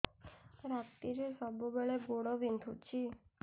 ରାତିରେ ସବୁବେଳେ ଗୋଡ ବିନ୍ଧୁଛି